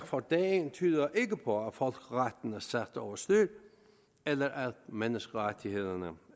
for dagen tyder ikke på at folkeretten er sat over styr eller at menneskerettighederne